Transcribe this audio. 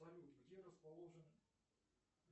салют где расположен